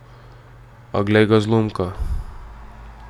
A, glej ga, zlomka.